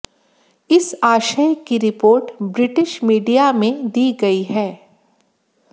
इस आशय की रिपोर्ट ब्रिटिश मीडिया में दी गई है